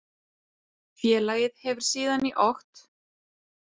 Félagið hefur síðan í okt